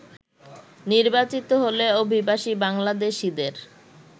নির্বাচিত হলে অভিবাসী বাংলাদেশিদের